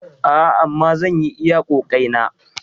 A'a, amma zan yi iya ƙoƙaeina.